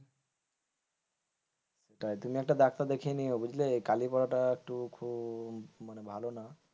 তাই তুমি একটা ডাক্তার দেখিয়ে নিয়ো বুঝলে এই কালি পড়া একটু খুব মানে ভালো না।